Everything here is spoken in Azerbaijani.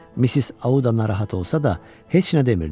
Missis Auda narahat olsa da, heç nə demirdi.